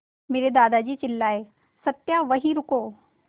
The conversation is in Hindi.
मेरे दादाजी चिल्लाए सत्या वहीं रुको